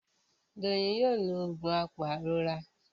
Doyin ló yíò oògùn apairora.